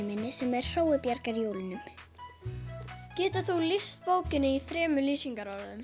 minni sem er Hrói bjargar jólunum getur þú lýst bókinni í þremur lýsingarorðum